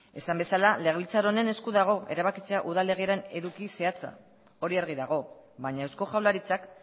esan bezala legebiltzar honen esku dago erabakitzea udal legearen eduki zehatza hori argi dago baina eusko jaurlaritzak